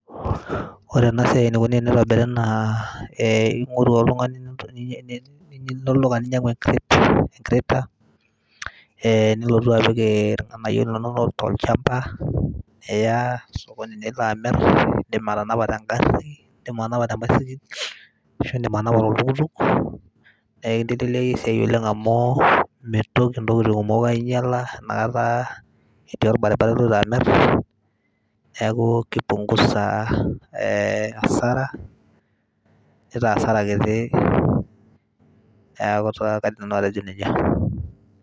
ore ena siai eneikoni teneitobiri naa, ilo oltung'ani olduka ninyang'u ee crate nilotu apik irng'anayio linonok tolchamba , niya sokonin nilo amir , nindim atanapa te ng'ari nindim atanapa te mbaisikil ashu indim atanapa toltukutuk. naa ekinteleeliaki esiai oleng' amuu meitoki intokiting' kumok ainyela inakata itii olbaribara iloito amir. neaku keipungusa hasara neitaa hasara kiti.